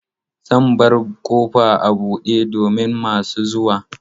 Zan bar ƙofa a buɗe domin masu zuwa.